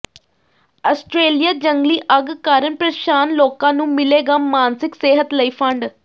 Australia ਜੰਗਲੀ ਅੱਗ ਕਾਰਨ ਪ੍ਰੇਸ਼ਾਨ ਲੋਕਾਂ ਨੂੰ ਮਿਲੇਗਾ ਮਾਨਸਿਕ ਸਿਹਤ ਲਈ ਫੰਡ